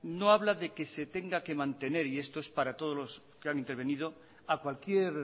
no habla de que se tenga que mantener y esto es para todos los que han intervenido a cualquier